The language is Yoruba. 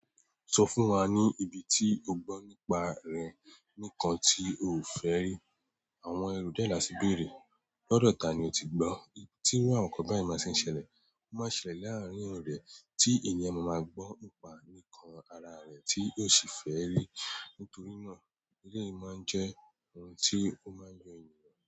Sọ fún wa ní ibi tí o gbọ́ nípa rẹ̀ nìkan tí o ò fẹ́ rí. Àwọn ẹrú dé là sí bèrè, lọ́dọ̀ ta ni o ti gbọ́ tí iru àwọn nǹkan báyen máa ṣe ń ṣẹlẹ̀, ó máa ṣẹlẹ̀ láàárín ọ̀re tí ènìyàn máa máa gbọ́ nípa nǹkan ara rẹ̀ tí yóò sì fẹ́ rí. Nítorí náà, èleyi máa ń jẹ́ ohun tí ó máa ń yan ènìyàn.